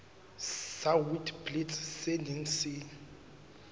sa witblits se neng se